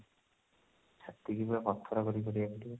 ଛାତି କି ପୁରା ପଥର କରିକି କରିବାକୁ ପଡିବ